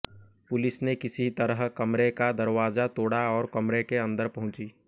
police ने किसी तरह कमरे का दरवाजा तोड़ा और कमरे के अंदर पहुंची